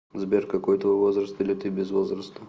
сбер какой твой возраст или ты без возраста